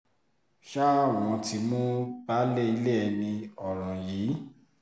ṣá wọn ti mú baálé ilé ẹni ọ̀ràn yìí